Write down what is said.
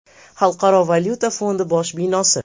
Xalqaro valyuta fondi bosh binosi.